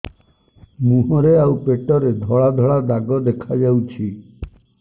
ମୁହଁରେ ଆଉ ପେଟରେ ଧଳା ଧଳା ଦାଗ ଦେଖାଯାଉଛି